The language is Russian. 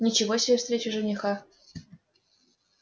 ничего себе встреча жениха